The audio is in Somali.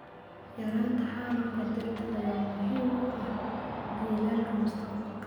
Yaraynta xaalufka dhirta ayaa muhiim u ah jiilalka mustaqbalka.